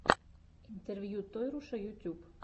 интервью тойруша ютюб